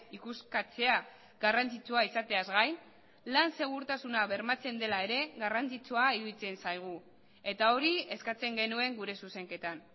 ikuskatzea garrantzitsua izateaz gain lan segurtasuna bermatzen dela ere garrantzitsua iruditzen zaigu eta hori eskatzen genuen gure zuzenketan